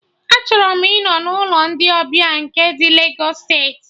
Achọrọ m ịnọ n'ụlọ ndị ọbịa nke ndị Legos steeti